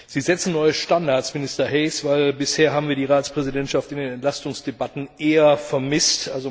Sie setzen neue Standards, Minister Hayes, denn bisher haben wir die Ratspräsidentschaft in den Entlastungsdebatten eher vermisst.